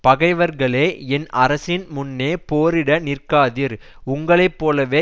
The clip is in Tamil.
பகைவர்கேள என் அரசின் முன்னே போரிட நிற்காதீர் உங்களை போலவே